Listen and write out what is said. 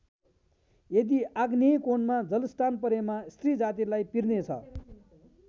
यदि आग्नेय कोणमा जलस्थान परेमा स्त्री जातिलाई पिर्ने छ।